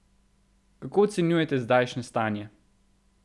Kako ocenjujete zdajšnje stanje?